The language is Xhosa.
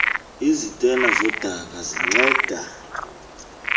izitena zodaka zinceda